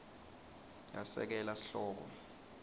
yesekela sihloko